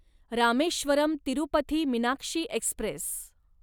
Rameswaram Tirupati Meenakshi Express